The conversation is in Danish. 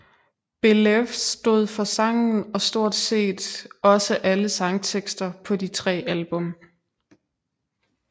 Belew stod for sangen og stort set også alle sangtekster på de tre album